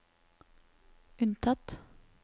unntatt